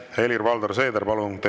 Helir-Valdor Seeder, palun!